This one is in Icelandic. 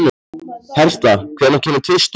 Hertha, hvenær kemur tvisturinn?